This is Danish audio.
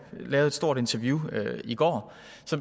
lavet et stort interview i går